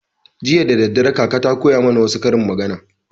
Jiya daddare kaka ta koya mana wassu karin magana